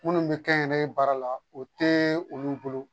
Minnu bɛ kɛ n yɛrɛ ye baara la o tɛ olu bolo